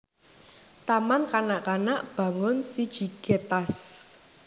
Taman Kanak kanak Bangun siji Getas